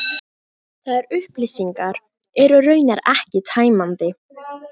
Þær upplýsingar eru raunar ekki tæmandi